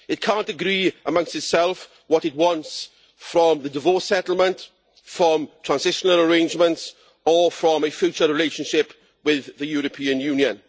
It can't agree amongst itself what it wants from the divorce settlement, from transitional arrangements or from a future relationship with the European Union.